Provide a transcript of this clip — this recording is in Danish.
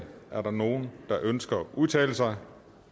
er der nogen der ønsker at udtale sig